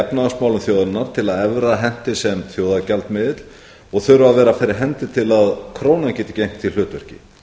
efnahagsmálum þjóðarinnar til að evran henti sem þjóðargjaldmiðill og þurfa að vera fyrir hendi til að krónan geti gegnt því hlutverki